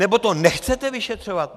Nebo to nechcete vyšetřovat?